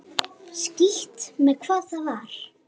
Skítt með hvað það var.